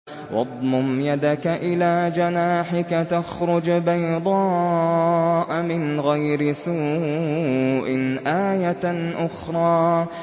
وَاضْمُمْ يَدَكَ إِلَىٰ جَنَاحِكَ تَخْرُجْ بَيْضَاءَ مِنْ غَيْرِ سُوءٍ آيَةً أُخْرَىٰ